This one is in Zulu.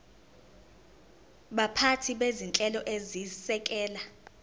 baphathi bezinhlelo ezisekela